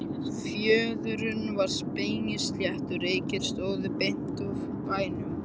Fjörðurinn var spegilsléttur, reykir stóðu beint upp af bæjum.